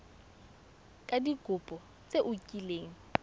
ka dikopo tse o kileng